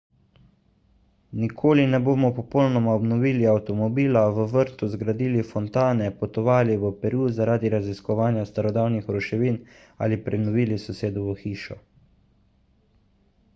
nikoli ne bomo popolnoma obnovili avtomobila v vrtu zgradili fontane potovali v peru zaradi raziskovanja starodavnih ruševin ali prenovili sosedovo hišo